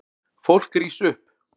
Fólk rís upp.